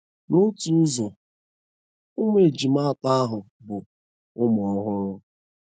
N'otu ụzọ ,ụmụ ejima atọ ahụ bụ ụmụ ọhụrụ “.”